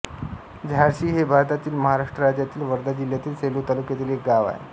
झाडशी हे भारतातील महाराष्ट्र राज्यातील वर्धा जिल्ह्यातील सेलू तालुक्यातील एक गाव आहे